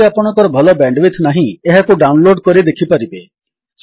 ଯଦି ଆପଣଙ୍କର ଭଲ ବ୍ୟାଣ୍ଡୱିଡଥ୍ ନାହିଁ ଏହାକୁ ଡାଉନଲୋଡ୍ କରି ଦେଖିପାରିବେ